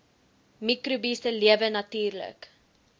mikrobiese lewe natuurlik